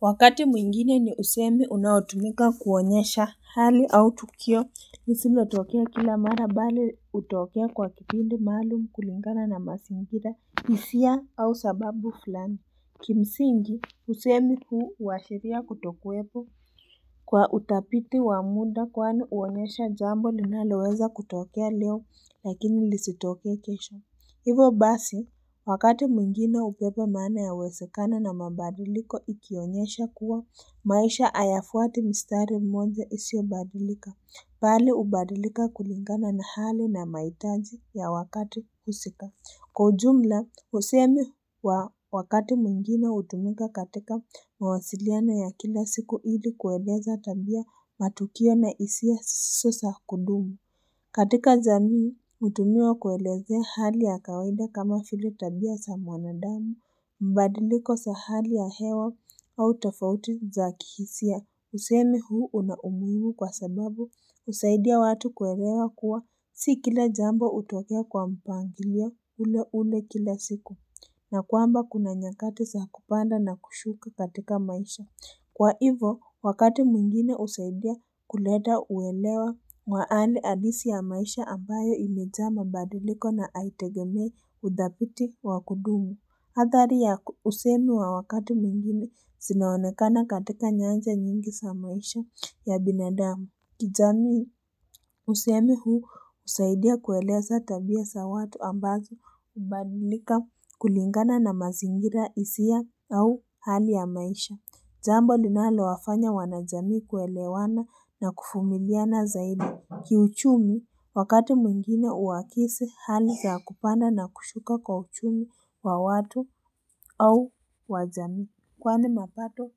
Wakati mwingine niusemi unautumika kuonyesha hali au tukio lisilo tokea kila mara bali hutokea kwa kipindi maalum kulingana na mazingira hisia au sababu fulani Kimsingi usemi huu huashiria kutokuwepo Kwa utafiti wa muda kwani huonyesha jambo linaloweza kutokea leo lakini lisitokea kesho Hivo basi, wakati mwingine hubeba maana ya uwezekano na mabadiliko ikionyesha kuwa maisha hayafuati mstari mmoja isiyobadilika. Bali hubadilika kulingana na hali na mahitaji ya wakati husika. Kwa ujumla, usemi wa wakati mwingine hutumika katika mawasiliano ya kila siku ili kueleza tabia matukio na hisia siyo zakudumu. Katika jamii, hutumiwa kuelezea hali ya kawaida kama vile tabia za mwanadamu, mabadiliko za hali ya hewa au tofauti za kihisia. Usemi huu unaumuhimu kwa sababu, husaidia watu kuelewa kuwa, si kila jambo hutokea kwa mpangilio ule ule kila siku, na kwamba kuna nyakati za kupanda na kushuka katika maisha. Kwa hivo, wakati mwingine husaidia kuleta uelewa maana halisi ya maisha ambayo imejaa mabadiliko na haitegemei utafiti wa kudumu. Athari ya usemi wa wakati mwingine zimeonekana katika nyanja nyingi za maisha ya binadamu. Kijamii usemi huu husaidia kueleza tabia za watu ambazo hubadilika kulingana na mazingira hisia au hali ya maisha. Jambo linalo wafanya wanajamii kuelewana na kuvumiliana zaidi. Kiuchumi wakati mwingine huakisi hali za kupanda na kushuka kwa uchumi wa watu au wajamii. Kwani mapato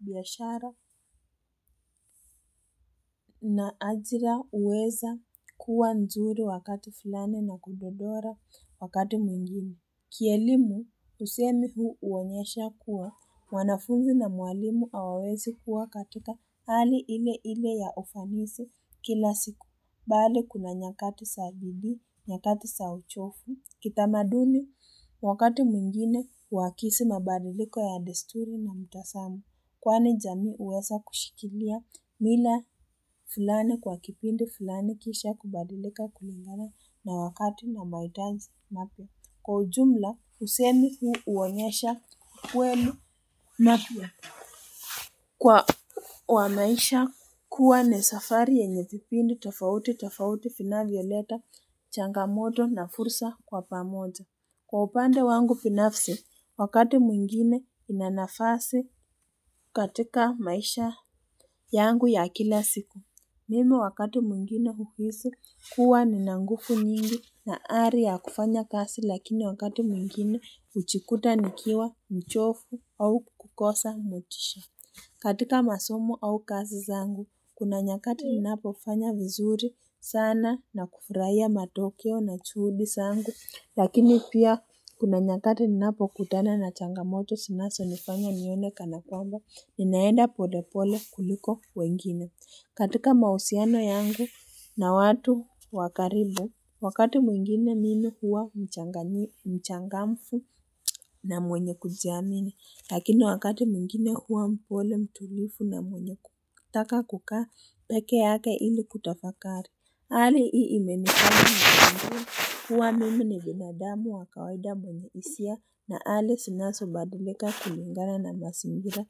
biashara na ajira huweza kuwa nzuri wakati filani na kudodora wakati mwingine. Kielimu, usemi huu huonyesha kuwa, mwanafunzi na mwalimu hawawezi kuwa katika hali ile ile ya ufanisi kila siku, bali kuna nyakati za bidii, nyakati za uchovu. Kitamaduni, wakati mwingine, huakisi mabadiliko ya desturi na mtazamo, kwani jamii huweza kushikilia mila fulani kwa kipindi fulani kisha kubadilika kulingana na wakati na mahitaji mapya Kwa ujumla, Husemi huu huonyesha kwenu na pia. Kwa maisha kuwa ni safari yenye vipindi tofauti tofauti vinavyoleta, changamoto na fursa kwa pamoja. Kwa upande wangu binafsi, wakati mwingine inanafasi katika maisha yangu ya kila siku. Mimi wakati mwingine huhisi kuwa nina nguvu nyingi na ari yakufanya kazi lakini wakati mwingine hujikuta nikiwa mchovu au kukosa motisha. Katika masomo au kazi zangu, kuna nyakati ninapofanya vizuri sana na kufurahia matokeo na juhudi zangu. Lakini pia kuna nyakati ninapo kutana na changamoto zinazo nifanya nione kanakwamba, ninaenda polepole kuliko wengine. Katika mahusiano yangu na watu wakaribu, wakati mwingine mimi huwa mchangamfu na mwenye kujiamini, lakini wakati mwingine huwa mpole mtulivu na mwenye kutaka kukaa peke yake ili kutafakari. Hali hii imenifanya kujua kuwa mimi ni binadamu wa kawaida mwenye hisia na hali zinasobadilika kulingana na mazingira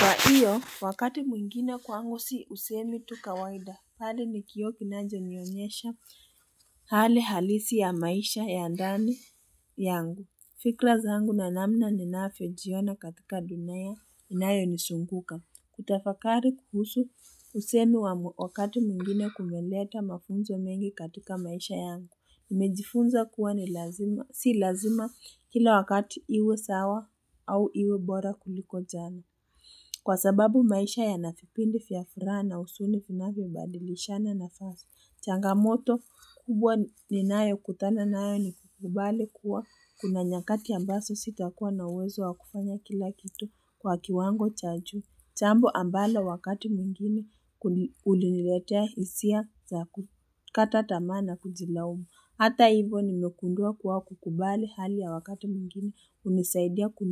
Kwahiyo, wakati mwingine kwangu si usemi tu kawaida. Hali nikioo kinachonionyesha hali halisi ya maisha ya ndani yangu. Fikra zangu na namna ninavyojiona katika dunia inayo nizunguka. Kutafakari kuhusu usemi wa wakati mwingine kumeleta mafunzo mengi katika maisha yangu. Nimejifunza kuwa si lazima kila wakati iwe sawa au iwe bora kuliko jana. Kwa sababu maisha yana vipindi vya furaha na huzuni vinavyobadilishana nafasi. Changamoto kubwa ninayo kutana nayo ni kukubali kuwa kuna nyakati ambazo sita kuwa na uwezo wakufanya kila kitu kwa kiwango cha juu. Jambo ambalo wakati mwingine huniretea hisia za kukata tamaa na kujilaumu. Hata hivo nimegundua kuwa kukubali hali ya wakati mwingine hunisaidia kuni.